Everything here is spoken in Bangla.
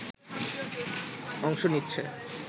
অংশ নিচ্ছে